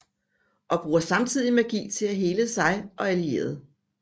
Og bruger samtidig magi til at hele sig selv og allierede